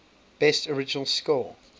best original score